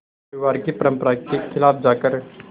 परिवार की परंपरा के ख़िलाफ़ जाकर